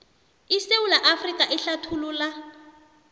isewula afrika ehlathululwa